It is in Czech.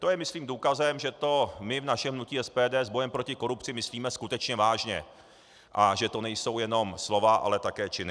To je myslím důkazem, že to my v našem hnutí SPD s bojem proti korupci myslíme skutečně vážně a že to nejsou jenom slova, ale také činy.